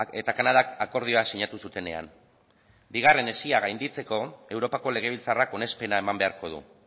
eta kanadak akordioa sinatu zutenean bigarren hesia gainditzeko europako legebiltzarrak onespena eman beharko du